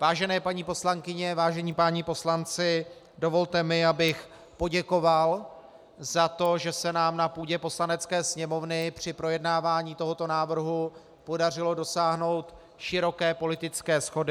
Vážené paní poslankyně, vážení páni poslanci, dovolte mi, abych poděkoval za to, že se nám na půdě Poslanecké sněmovny při projednávání tohoto návrhu podařilo dosáhnout široké politické shody.